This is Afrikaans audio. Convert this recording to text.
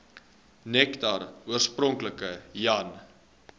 nektar oorspronklik jan